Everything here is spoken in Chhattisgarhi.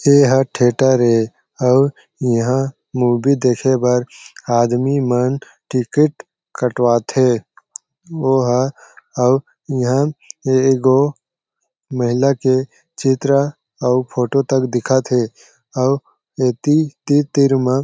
ए हा थिएटर ए आऊ इहा मूवी देखे बर आदमी मन टिकट कटवाथे वो ह आऊ इहा एगो महिला के चित्र और फोटो तक दिखत हे आऊ ऐति तीर-तीर म--